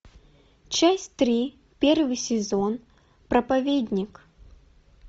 часть три первый сезон проповедник